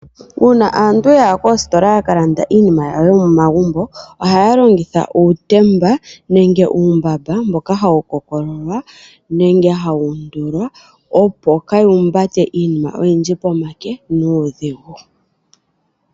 Uuna aantu yaya koositola yaka landa iinima yawo yomo magumbo, ohaya longitha uutembe nenge uumbamba, mboka hawu kookololwa nenge hawu undulwa, opo kaaya humbate iinima oyindji pomake nuudhigu.